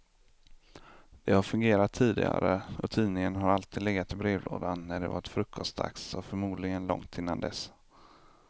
Det har fungerat tidigare och tidningen har alltid legat i brevlådan när det varit frukostdags, och förmodligen långt innan dess.